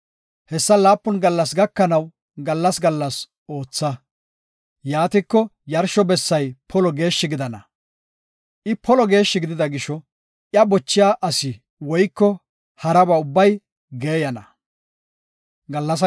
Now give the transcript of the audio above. Hessa laapun gallas gakanaw gallas gallas ootha. Yaatiko yarsho bessay polo geeshshi gidana. I polo geeshshi gidida gisho, iya bochiya asi woyko haraba ubbay geeyana.